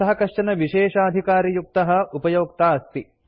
सः कश्चन विशेषाधिकारयुक्तः उपयोक्ता अस्ति